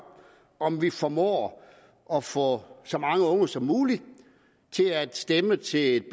om vi formår at få så mange unge som muligt til at stemme til et